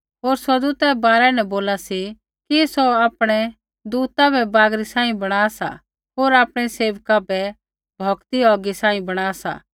होर स्वर्गदूतै रै बारै न बोला सी कि सौ आपणै दूता बै बागरी सांही बणा सा होर आपणै सेवका बै भौकदी औगी सांही बणा सा